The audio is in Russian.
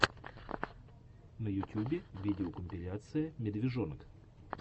на ютюбе видеокомпиляция медвежонок